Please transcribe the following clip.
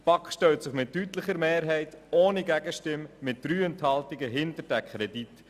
Die BaK stellt sich mit deutlicher Mehrheit ohne Gegenstimme mit 3 Enthaltungen hinter den Kredit.